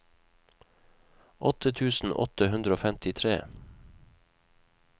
åtte tusen åtte hundre og femtitre